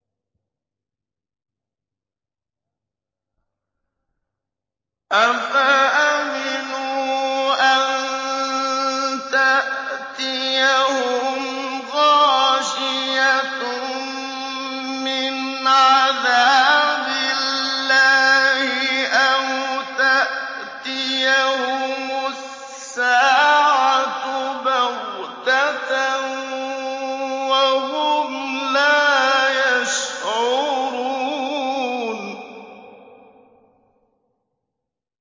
أَفَأَمِنُوا أَن تَأْتِيَهُمْ غَاشِيَةٌ مِّنْ عَذَابِ اللَّهِ أَوْ تَأْتِيَهُمُ السَّاعَةُ بَغْتَةً وَهُمْ لَا يَشْعُرُونَ